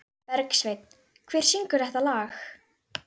Bergsveinn, hver syngur þetta lag?